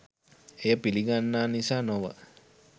එය පිළිගන්නා නිසා නොව